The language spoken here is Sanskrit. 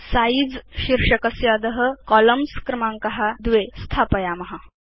सिझे इति शीर्षकस्य अध कोलम्न्स् इत्यस्य क्रमाङ्क 2 इति स्थापयाम